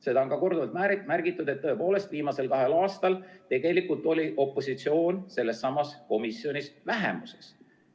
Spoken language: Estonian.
Seda on ka korduvalt märgitud, et tõepoolest, viimasel kahel aastal oli opositsioon sellessamas komisjonis vähemuses.